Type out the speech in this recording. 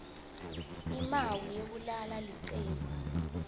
imawi yekulala licembu